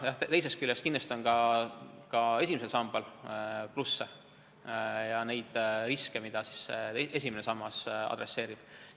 Teisest küljest on kindlasti ka esimesel sambal plusse, on neid riske, mida esimene sammas leevendab.